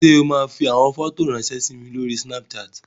Ṣé o máa fi àwọn fọ́tò ráńṣẹ́ sí mi lórí Snapchat?